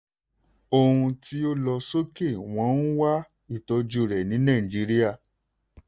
ohun tí o lọ sókè wọ́n ń wá ìtọ́jú rẹ̀ ní nàìjíríà.